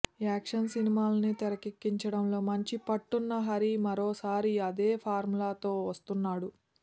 action సినిమాలని తెరకెక్కించడంలో మంచి పట్టున్న హరి మరోసారి అదే ఫార్ములా తో వస్తున్నాడు